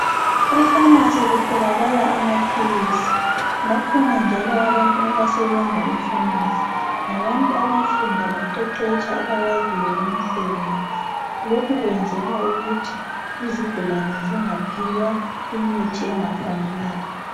E Famasi kutholakala amaphilisi bakhona njalo abantu abasebenza eFamasi , ngabantu abafunda baqeqetsha abawaziwo umsebenzi lokhu kwenzelwa ukuthi izigulani zingaphiwa imithi engafanelanga